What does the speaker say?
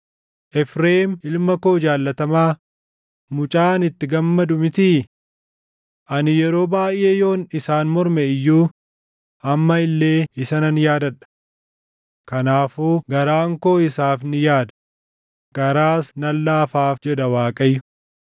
Efreem ilma koo jaallatamaa, mucaa ani itti gammadu mitii? Ani yeroo baayʼee yoon isaan morme iyyuu amma illee isa nan yaadadha. Kanaafuu garaan koo isaaf ni yaada; garaas nan laafaaf” jedha Waaqayyo.